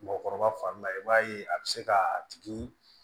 Mɔgɔkɔrɔba fanba ye i b'a ye a bɛ se ka a tigi